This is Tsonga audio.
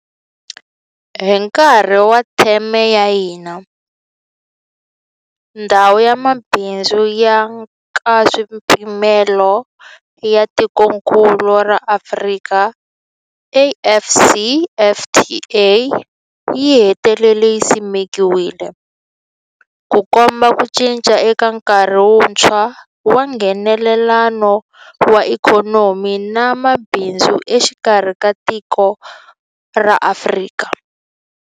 Hi nkarhi wa theme ya hina, Ndhawu ya Mabindzu ya Nkaswipimelo ya Tikokulu ra Afrika, AfCFTA, yi hetelele yi simekiwile, Ku komba ku cinca ka nkarhi wuntshwa wa Nghenelelano wa ikhonomi na mabindzu exikarhi ka matiko ya Afrika.